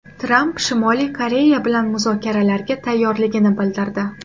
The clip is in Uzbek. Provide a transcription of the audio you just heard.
Tramp Shimoliy Koreya bilan muzokaralarga tayyorligini bildirdi .